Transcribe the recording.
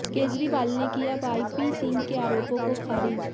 केजरीवाल ने किया Y P Singh के आरोपों को खारिज